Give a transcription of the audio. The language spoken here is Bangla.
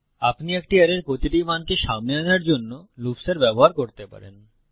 আপনি একটি অ্যারের প্রতিটি মানকে সামনে আনার জন্য লুপ্সের ব্যবহার করতে পারেন